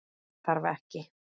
Þess þarf ekki.